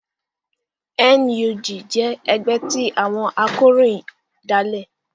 NUJ jẹ́ ẹgbẹ́ tí àwọn akọ̀ròyìn dálẹ̀